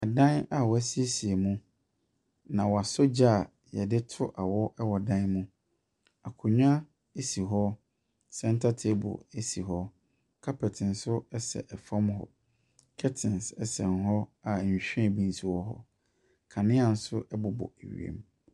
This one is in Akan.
Dan a wɔasiesie mu, na wɔasɔ gya a wɔde to awɔ wɔ dan no mu. Akonnwa si hɔ. Centre table si hɔ. Carpet nso sɛ fam hɔ. Curtains sɛn hɔ a nhwirem bi nso wɔ hɔ. Kanea nso bobɔ wiem.